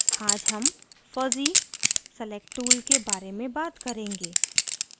आज हम fuzzy select tool के बारे में बात करेंगे